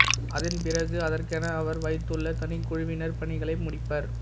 அதன்பிறகு அதற்கென அவர் வைத்துள்ள தனி குழுவினர் பணிகளை முடிப்பர்